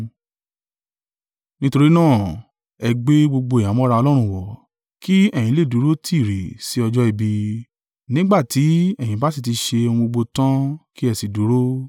Nítorí náà, ẹ gbé gbogbo ìhámọ́ra Ọlọ́run wọ̀, kí ẹ̀yin lè dúró tiiri sí ọjọ́ ibi, nígbà tí ẹ̀yin bá sì ti ṣe ohun gbogbo tan kí ẹ sì dúró.